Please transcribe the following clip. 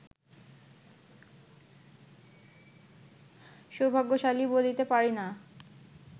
সৌভাগ্যশালী বলিতে পারি না